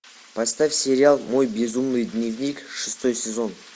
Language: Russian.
поставь сериал мой безумный дневник шестой сезон